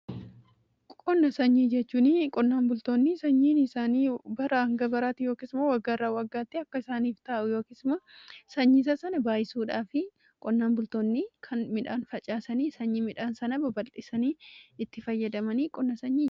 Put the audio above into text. Qonna sanyii jechuun qonnaan bultoonni sanyiin isaanii baraa hanga baraatti yookis immoo waggaa irraa waggaatti akka isaaniif taa'u, yookiis immoo sanyii sana baay'isuudhaa fi qonnaan bultoonni kan midhaan facaasanii sanyii midhaan sana baballisanii itti fayyadamanii qonna sanyii jenna.